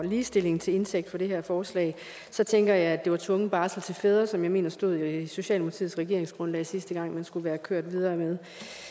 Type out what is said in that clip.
og ligestillingen til indtægt for det her forslag så tænker jeg at det var tvungen barsel til fædre som jeg mener stod i socialdemokratiets regeringsgrundlag sidste gang man skulle være kørt videre med